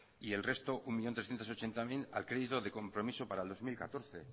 y el resto un millón trescientos ochenta mil a crédito de compromiso para el dos mil catorce